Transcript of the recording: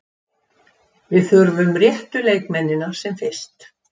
Við þurfum réttu leikmennina sem fyrst.